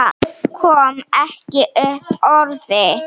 Kom ekki upp orði.